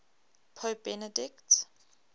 pope benedict